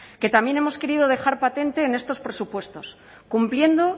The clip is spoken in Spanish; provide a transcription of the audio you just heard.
que también hemos querido dejar patente en estos presupuestos cumpliendo